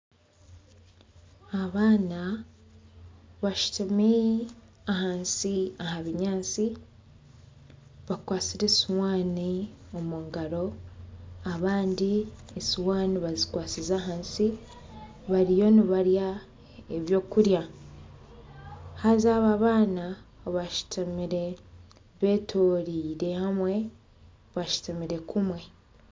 Abaana bashutami ahansi aha binyaatsi bakwatsire esuwaani omu ngaro abandi esuwaani bazikwatsize ahansi bariyo nibarya ebyokurya. Haza aba abaana bashutamire betoreire hamwe bashutamire kumwe.